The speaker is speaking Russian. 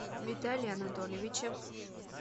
виталии анатольевиче